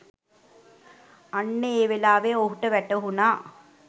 අන්න ඒ වෙලාවෙ ඔහුට වැටහුණා